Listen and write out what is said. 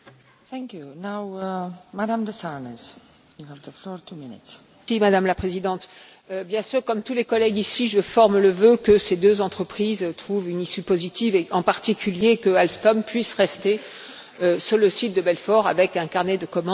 Madame la Présidente, bien sûr, comme tous les collègues ici, je forme le vœu que ces deux entreprises trouvent une issue positive et, en particulier, que Alstom puisse rester sur le site de Belfort avec un carnet de commandes suffisant.